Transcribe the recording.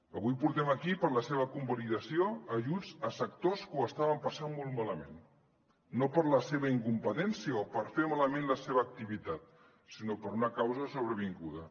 avui portem aquí per a la seva convalidació ajuts a sectors que ho estaven passant molt malament no per la seva incompetència o per fer malament la seva activitat sinó per una causa sobrevinguda